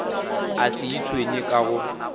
a se itshwenye ka go